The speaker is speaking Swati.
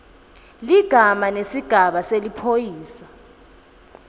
ligama nesigaba seliphoyisa